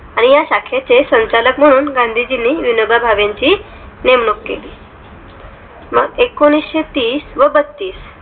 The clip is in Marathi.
णि या शाखेचे संचालक म्हणून गांधीजी विनोबा भावे यांची नेमणूक केली एकोणीशेतीस व बत्तीस